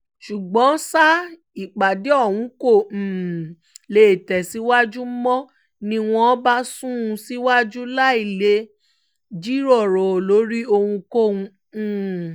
ṣùgbọ́n ṣá ìpàdé ọ̀hún kó um lè tẹ̀síwájú mò ń ní wọ́n bá sún un síwájú láì lè jíròrò lórí ohunkóhun um